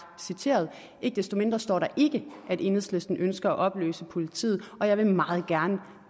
citeret ikke desto mindre der står ikke at enhedslisten ønsker at opløse politiet og jeg vil meget gerne